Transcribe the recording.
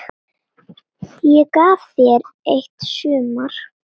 Ég gaf þér eitt sumar.